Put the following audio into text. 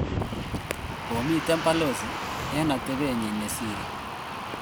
Komiten Pelosi '' en atebenyin nesire''